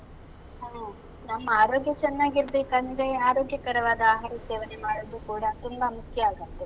ಹೌದು. ನಮ್ಮ ಆರೋಗ್ಯ ಚೆನ್ನಾಗಿರ್ಬೇಕಂದ್ರೆ, ಆರೋಗ್ಯಕರವಾದ ಆಹಾರ ಸೇವನೆ ಮಾಡುವುದೂ ಕೂಡ ತುಂಬಾ ಮುಖ್ಯ ಆಗತ್ತೆ.